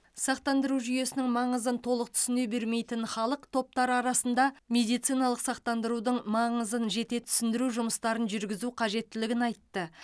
сақтандыру жүйесінің маңызын толық түсіне бермейтін халық топтары арасында медициналық сақтандырудың маңызын жете түсіндіру жұмыстарын жүргізу қажеттілігін айтты